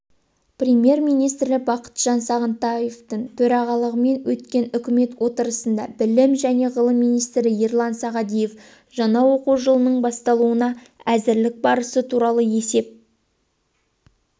премьер-министрі бақытжан сағынтаевтың төрағалығымен өткен үкімет отырысында білім және ғылым министрі ерлан сағадиев жаңа оқу жылының басталуына әзірлік барысы туралы есеп